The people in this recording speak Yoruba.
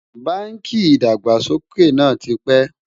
bánkì ìdàgbàsókè nà tí pé